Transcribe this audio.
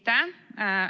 Aitäh!